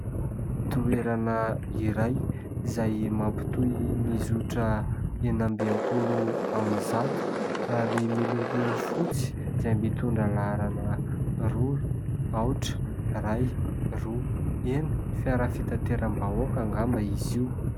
Toerana iray izay mampitohy ny zotra enina amby enimpolo amby zato ary miloko fotsy izay mitondra laharana roa, aotra, iray, roa, enina. Fiara fitateram-bahoaka angamba izy io